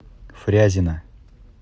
фрязино